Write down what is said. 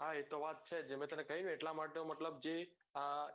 હા એતો વાત છે જ મેં તને કહ્યું ને એટલા માટે જ